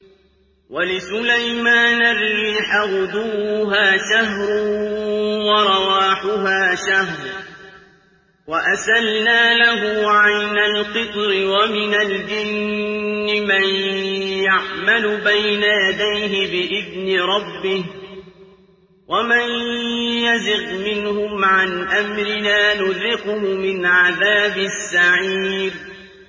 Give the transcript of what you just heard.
وَلِسُلَيْمَانَ الرِّيحَ غُدُوُّهَا شَهْرٌ وَرَوَاحُهَا شَهْرٌ ۖ وَأَسَلْنَا لَهُ عَيْنَ الْقِطْرِ ۖ وَمِنَ الْجِنِّ مَن يَعْمَلُ بَيْنَ يَدَيْهِ بِإِذْنِ رَبِّهِ ۖ وَمَن يَزِغْ مِنْهُمْ عَنْ أَمْرِنَا نُذِقْهُ مِنْ عَذَابِ السَّعِيرِ